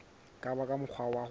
ka ba ka mokgwa wa